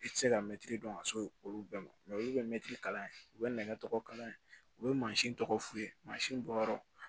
I tɛ se ka mɛtiri dɔn ka se olu bɛɛ ma olu bɛ mɛtiri kalan u bɛ nɛgɛ tɔgɔ kala u bɛ mansin tɔgɔ f'u ye mansin bɔyɔrɔ